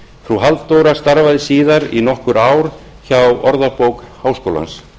frú halldóra starfaði síðar í nokkur ár hjá orðabók háskólans